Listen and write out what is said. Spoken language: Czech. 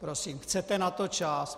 Prosím, chcete na to čas?